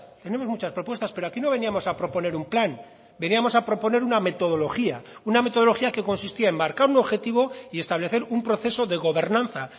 tenemos muchas propuestas pero aquí no veníamos a proponer un plan veníamos a proponer una metodología una metodología que consistía en marcar un objetivo y establecer un proceso de gobernanza